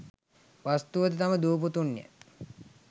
වස්තුව ද තම දූ පුතුන් ය.